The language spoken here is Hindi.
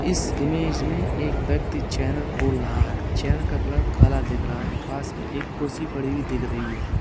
इस इमेज में एक व्यक्ति चैनल खोल रहा है। चैनल का कलर काला दिख रहा है पास में कुर्सी पड़ी हुई दिख रही है।